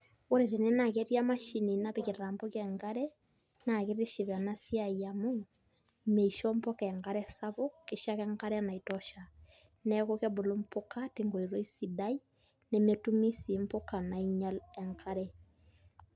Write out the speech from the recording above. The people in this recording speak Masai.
Ore tene naa ketii emashini napikita kuna puka enkare naa kitiship ena siai amu misho mpuka enkare sapuk kisho ake enkare naitosha, neeku kebulu mpuka tenkoitoi sidai nemetumi sii mpuka nainyial enkare.